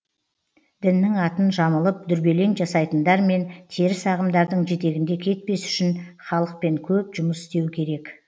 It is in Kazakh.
діннің атын жамылып дүрбелең жасайтындар мен теріс ағымдардың жетегінде кетпес үшін халықпен көп жұмыс істеу керек